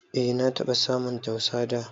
E na taba samun tausa dà